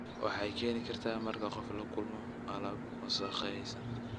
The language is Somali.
Waxay keeni kartaa marka qof la kulmo alaab wasakhaysan.